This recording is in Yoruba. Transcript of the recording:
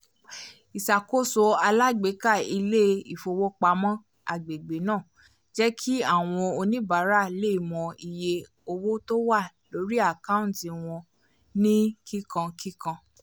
ìṣàkóso alágbèéká ilé-ifowopamọ́ agbègbè náà jẹ́ kí àwọn oníbàárà lè mọ iye owó tó wà lórí àkántì wọn ní kíkánkíkán